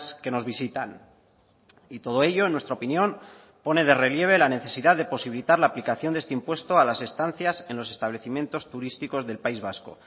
que nos visitan y todo ello en nuestra opinión pone de relieve la necesidad de posibilitar la aplicación de este impuesto a las estancias en los establecimientos turísticos del país vasco